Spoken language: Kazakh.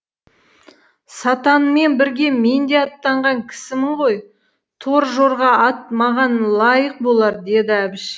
сатанмен бірге мен де аттанған кісімін ғой тор жорға ат маған лайық болар деді әбіш